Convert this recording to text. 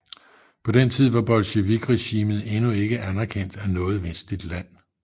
På den tid var bolsjevikregimet endnu ikke anerkendt af noget vestligt land